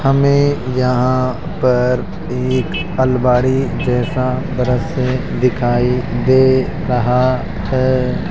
हमें यहां पर एक अलमारी जैसा दृश्य दिखाई दे रहा है।